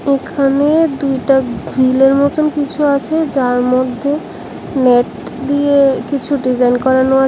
এখানে দুইটা গ্রিলের মতন কিছু আছে যার মধ্যে নেট দিয়ে কিছু ডিজাইন করানো আছে।